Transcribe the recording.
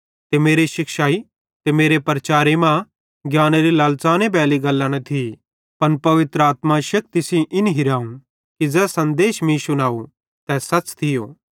ते मेरे शिक्षाई ते मेरे प्रचारे मां ज्ञानेरी लालच़ानेरी बैली गल्लां न थी पन पवित्र आत्मा शेक्ति सेइं इन हिरावं कि ज़ै सन्देश मीं शुनव तै सच़ थियो